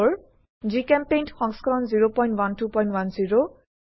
জিচেম্পেইণ্ট সংস্কৰণ 01210